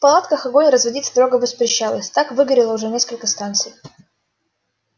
в палатках огонь разводить строго воспрещалось так выгорело уже несколько станций